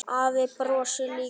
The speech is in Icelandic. Afi brosir líka.